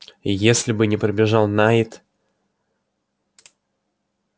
если бы не прибежал найд